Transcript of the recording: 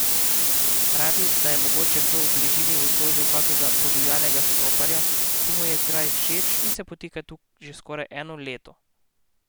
Pravi, da je mogoče kdo v bližini odložil kakega podivjanega štoparja, ki mu je kraj všeč in se potika tu že skoraj eno leto.